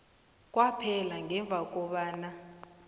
kwaphela ngemva kobana